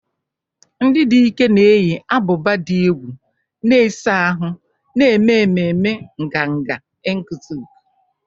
Ndị dike na-eyi ábụbà dị egwu, na-ese ahụ́, na-eme ememe nganga Enkutuk.